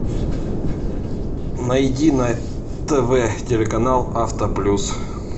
найди на тв телеканал автоплюс